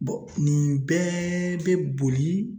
nin bɛɛ bɛ boli